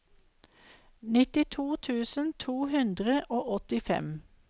nittito tusen to hundre og åttifem